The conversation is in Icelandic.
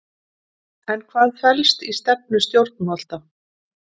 En hvað felst í stefnu stjórnvalda?